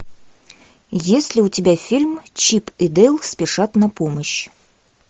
есть ли у тебя фильм чип и дейл спешат на помощь